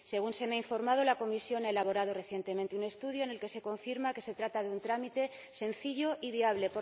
Según se me ha informado, la Comisión ha elaborado recientemente un estudio en el que se confirma que se trata de un trámite sencillo y viable.